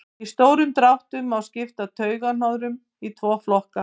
í stórum dráttum má skipta taugahnoðum í tvo flokka